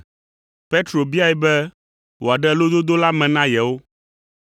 Petro biae be wòaɖe lododo la me na yewo.